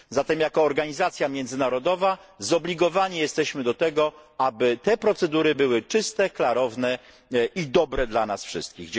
Zatem jako organizacja międzynarodowa zobligowani jesteśmy do tego, aby te procedury były czyste, klarowne i dobre dla nas wszystkich.